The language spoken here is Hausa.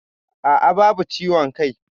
Aa, babu ciwon kai